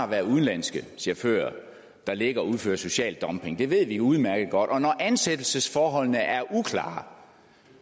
være udenlandske chauffører der ligger og udfører social dumping det ved vi udmærket godt og når ansættelsesforholdene er uklare